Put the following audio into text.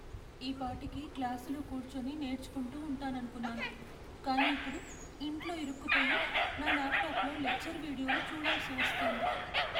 ఈపాటికి క్లాసులో కూర్చుని నేర్చుకుంటూ ఉంటాననుకున్నాను, కానీ ఇప్పుడు ఇంట్లో ఇరుక్కుపోయి, నా ల్యాప్టాప్లో లెక్చర్ వీడియోలు చూడాల్సి వస్తోంది.